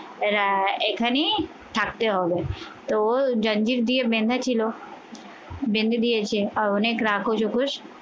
এখানেই থাকতে হবে। তো জাঞ্জির দিয়ে বেঁধে ছিল বেঁধে দিয়েছে আর অনেক রাক্ষস